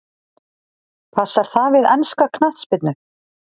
Passar það við enska knattspyrnu?